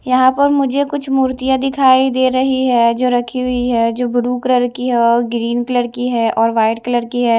यहां पर मुझे कुछ मूर्तियां दिखाई दे रही है जो रखी हुई है जो ब्लू कलर की है व ग्रीन कलर की है और वाइट कलर की है।